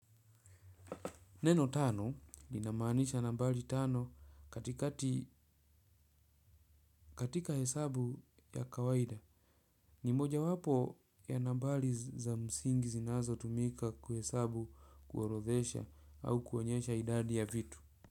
Neno tano linamaanisha nambari tano katikati katika hesabu ya kawaida. Ni mojawapo ya nambari za msingi zinazotumika kuhesabu kuorodhesha au kuonyesha idadi ya vitu.